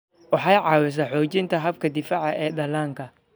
Waxay caawisaa xoojinta habka difaaca ee dhallaanka.